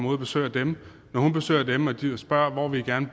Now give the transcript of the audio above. ud og besøger dem når hun besøger dem og spørger hvor de gerne